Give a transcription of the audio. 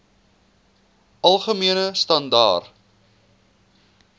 algemene standaar